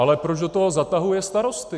Ale proč do toho zatahuje starosty?